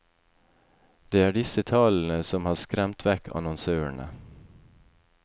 Det er disse tallene som har skremt vekk annonsørene.